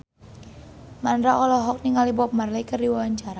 Mandra olohok ningali Bob Marley keur diwawancara